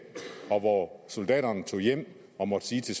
og hvor soldaterne tog hjem og måtte sige til